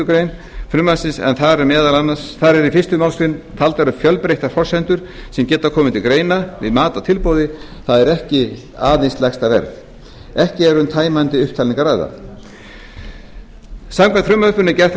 grein frumvarpsins en þar eru í fyrstu málsgrein taldar upp fjölbreyttar forsendur sem geta komið til greina við mat á tilboði það er ekki aðeins lægsta verð ekki er um tæmandi upptalningu að ræða samkvæmt frumvarpinu er gert